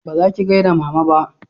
ba zaki gaida mama ba